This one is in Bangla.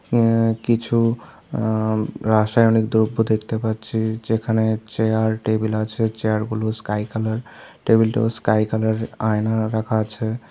আ কিছু আআ ম রাসায়নিক দ্রব্য দেখতে পাচ্ছি যেখানে চেয়ার টেবিল আছে চেয়ারগুলো স্কাই কালার টেবিলটাও স্কাই কালার আয়না রাখা আছে।